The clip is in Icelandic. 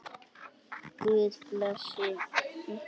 Guð blessi ykkur.